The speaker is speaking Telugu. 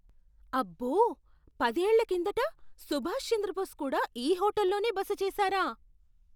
అబ్బో! పదేళ్ల కిందట సుభాష్ చంద్రబోస్ కూడా ఈ హోటల్లోనే బస చేసారా?